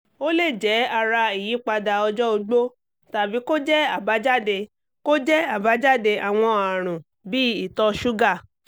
ó lè jẹ́ ara ìyípadà ọjọ́ ogbó tàbí kó jẹ́ àbájáde kó jẹ́ àbájáde àwọn àrùn bíi ìtọ̀ ṣúgà